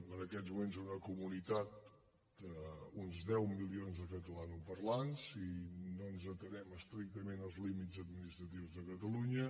en aquests moments una comunitat d’uns deu milions de catalanoparlants si no ens atenem estrictament als límits administratius de catalunya